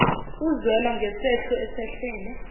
uzwelo ngesehlo esehlele